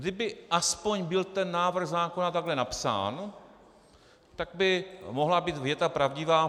Kdyby aspoň byl ten návrh zákona takhle napsán, tak by mohla být věta pravdivá.